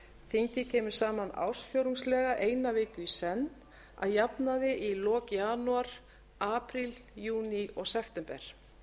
þingið kemur saman ársfjórðungslega eina viku í senn að jafnaði í lok janúar apríl júní og september